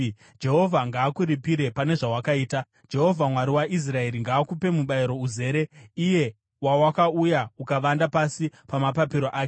Jehovha ngaakuripire pane zvawakaita. Jehovha, Mwari waIsraeri, ngaakupe mubayiro uzere, iye wawakauya ukavanda pasi pamapapiro ake.”